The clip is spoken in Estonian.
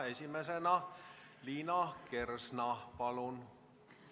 Esimesena Liina Kersna, palun!